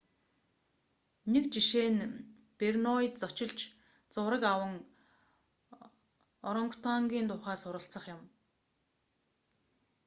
нэг жишээ нь борнеод зочилж зураг аван орангутангын тухай суралцах юм